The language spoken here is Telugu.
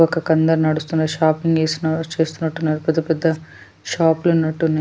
ఒక కంద నడుస్తున్న షాపింగ్ చేసినారు చేస్తున్నట్టున్నారు పెద్ద పెద్ద షాప్ లో ఉన్నట్టు ఉన్నాయి.